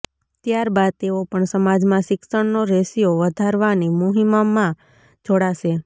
ત્યારબાદ તેઓ પણ સમાજમાં શિક્ષણનો રેશિયો વધારવાની મુહિમમાં જોડાશે